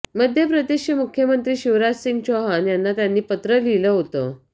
मध्य प्रदेशचे मुख्यमंत्री शिवराजसिंह चौहान यांना त्यांनी पत्र लिहिलं होतं